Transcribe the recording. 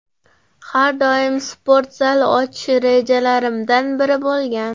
Har doim sport zal ochish rejalarimdan biri bo‘lgan.